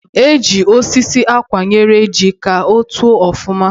E ji osisi akwụnyere ji ka o too ọfụma